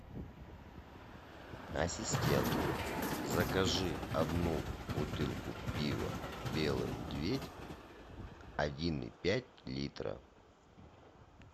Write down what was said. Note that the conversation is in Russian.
ассистент закажи одну бутылку пива белый медведь один и пять литра